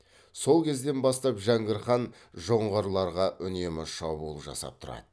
сол кезден бастап жәңгір хан жоңғарларға үнемі шабуыл жасап тұрады